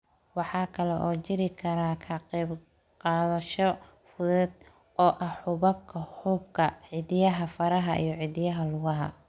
Waxa kale oo jiri kara ka qaybqaadasho fudud oo ah xuubabka xuubka, cidiyaha faraha iyo cidiyaha lugaha.